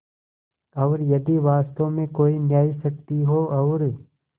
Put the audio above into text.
और यदि वास्तव में कोई न्यायशक्ति हो और